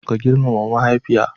Ka girmama mahaifiya.